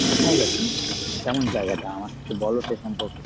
কোথায় গেছিলে মানে কেমন জায়গাটা? আমকে বল সে সম্পর্কে।